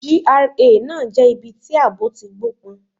GRA náà jẹ́ ibi tí àbọ̀ ti gbó pọn.